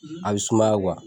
A bɛ sumaya